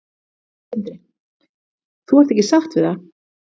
Sindri: Þú ert ekki sátt við það?